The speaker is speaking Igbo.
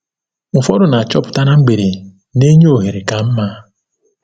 Ụfọdụ na-achọpụta na mgbede na-enye ohere ka mma.